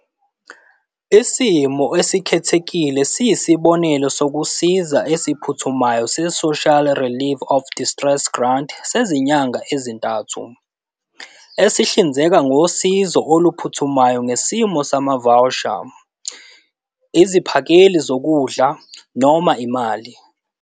Isimo esikhethekile siyisibonelelo sokusiza esiphuthumayo se-Social Relief of Distress Grant sezinyanga ezintathu, esihlinzeka ngosizo oluphuthumayo ngesimo samavawusha, iziphakeli zokudla, noma imali.